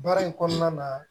Baara in kɔnɔna na